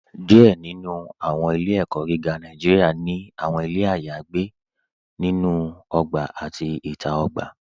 Díẹ̀ nínú àwọn ilẹ̀-ẹ̀kó̩ gígá Nàìjíríà ni àwọn ilẹ̀ ayagbè lórí ògbà àti ìta ògbà.